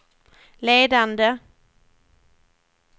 ledande